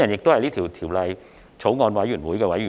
我是《條例草案》的法案委員會委員。